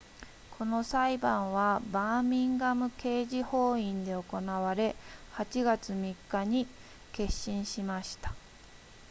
この裁判はバーミンガム刑事法院で行われ8月3日に結審しました